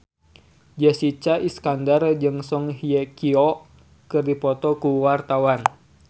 Jessica Iskandar jeung Song Hye Kyo keur dipoto ku wartawan